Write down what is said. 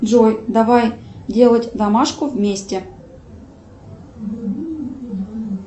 джой давай делать домашку вместе